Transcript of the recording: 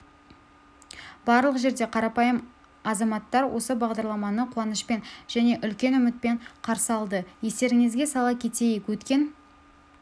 барлық жерде қарапайым азаматтар осы бағдарламаны қуанышпен және үлкен үмітпен қарсы алды естеріңізге сала кетейік өткен